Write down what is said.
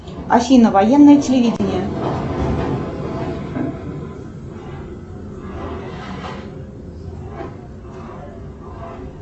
афина военное телевидение